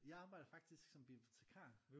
Jeg arbejder faktisk som bibliotikar